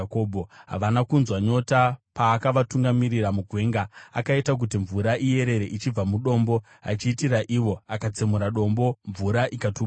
Havana kunzwa nyota paakavatungamirira mugwenga; akaita kuti mvura iyerere ichibva mudombo, achiitira ivo; akatsemura dombo mvura ikatubuka.